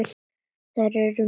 Þær eru margar og góðar.